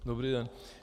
Dobrý den.